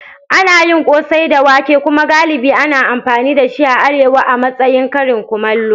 Ana yin kose da wake kuma galibi ana amfani da shi a Arewa a matsayin karin kumallo.